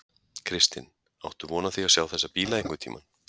Kristinn: Áttu von á því að sjá þessa bíla einhvern tímann?